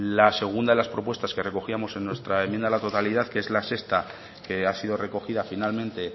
la segunda de las propuestas que recogíamos en nuestra enmienda a la totalidad que es la sexta que ha sido recogida finalmente